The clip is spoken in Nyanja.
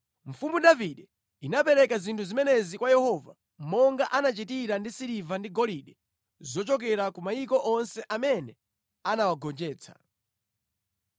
Mfumu Davide inapereka zinthu zimenezi kwa Yehova, monga anachitira ndi siliva ndi golide zochokera ku mayiko onse amene anawagonjetsa: